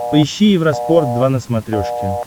поищи евроспорт два на смотрешке